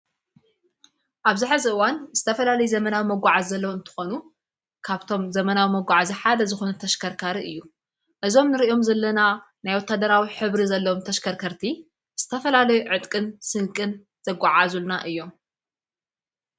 ኣብ ዝኅ ዘዋን እስተፈላለይ ዘመናብ መጕዓ ዘለዉ እንተኾኑ ካብቶም ዘመናዊ መጕዓ እዝሓደ ዝኾኑ ተሽከርካር እዩ እዞም ንርእዮም ዘለና ናይ ወታደራዊ ኅብሪ ዘለም ተሽከርከርቲ ስተፈላለይ ዕጥቅን ስንቅን ዘጐዓ ዙልና እዮም።